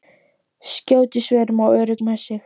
Skjót í svörum og örugg með sig.